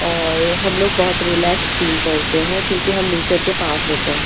और हम लोग बहौत रिलैक्स फील करते हैं क्युकी हम नेचर के पास होते हैं।